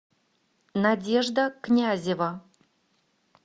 надежда князева